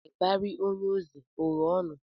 Ịbarị onye eze o ghe ọnụ?